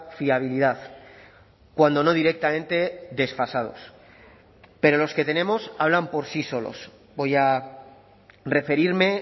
fiabilidad cuando no directamente desfasados pero los que tenemos hablan por sí solos voy a referirme